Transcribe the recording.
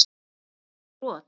Er þetta ekki brot?